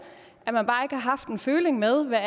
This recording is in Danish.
at man bare har haft føling med hvad